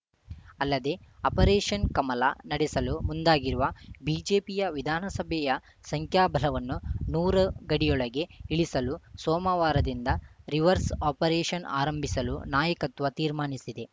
ಅಲ್ಲದೆ ಆಪರೇಷನ್‌ ಕಮಲ ನಡೆಸಲು ಮುಂದಾಗಿರುವ ಬಿಜೆಪಿಯ ವಿಧಾನಸಭೆಯ ಸಂಖ್ಯಾಬಲವನ್ನು ನೂರು ಗಡಿಯೊಳಗೆ ಇಳಿಸಲು ಸೋಮವಾರದಿಂದ ರಿವರ್ಸ್‌ ಆಪರೇಷನ್‌ ಆರಂಭಿಸಲು ನಾಯಕತ್ವ ತೀರ್ಮಾನಿಸಿದೆ